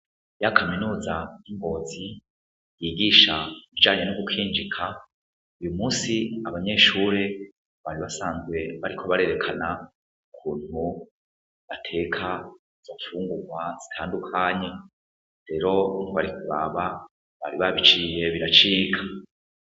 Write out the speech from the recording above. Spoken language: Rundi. Ya Kaminuza y'ingozi yigisha ivyo gukinjika uyumunsi abanyeshure bari basanzwe bariko berekana ukuntu bateka imfungurwa zitandukanye rero ntiwari kuraba bari babiciye biracika.